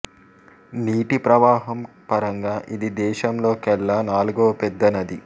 నీటి ప్రవాహం పరంగా ఇది దేశంలో కెల్లా నాలుగవ పెద్ద నది